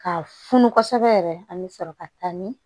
Ka funu kosɛbɛ yɛrɛ an bɛ sɔrɔ ka taa ni